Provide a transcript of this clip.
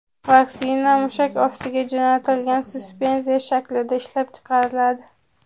Vaksina mushak ostiga jo‘natiladigan suspenziya shaklida ishlab chiqariladi .